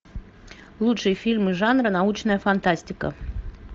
лучшие фильмы жанра научная фантастика